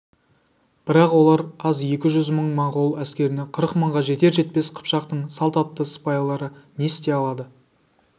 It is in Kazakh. бірақ олар аз екі жүз мың монғол әскеріне қырық мыңға жетер-жетпес қыпшақтың салт атты сыпайлары не істей алады